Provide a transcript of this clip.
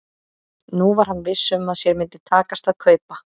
Nú var hann viss um að sér myndi takast að kaupa